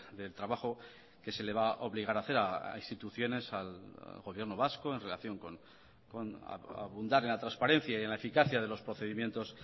del trabajo que se le va a obligar a hacer a instituciones al gobierno vasco en relación con abundar en la transparencia y en la eficacia de los procedimientos